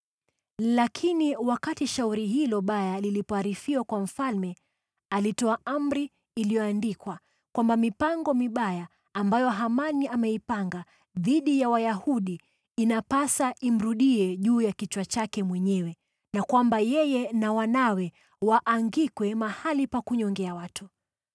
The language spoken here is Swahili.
Lakini wakati shauri hilo baya lilipoarifiwa kwa mfalme, alitoa amri iliyoandikwa kwamba mipango mibaya ambayo Hamani ameipanga dhidi ya Wayahudi inapasa imrudie juu ya kichwa chake mwenyewe, na kwamba yeye na wanawe waangikwe mahali pa kunyongea watu.